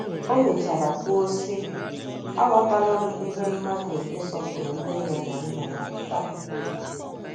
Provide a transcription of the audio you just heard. O mechara kwuo, sị: “ Aghọtala m ihe mmadụ ịsọpụrụ nne ya na nna ya pụtara.